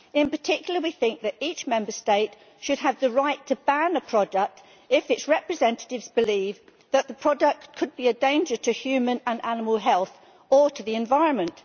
In particular, we think that each Member State should have the right to ban a product if its representatives believe that the product could be a danger to human and animal health or to the environment.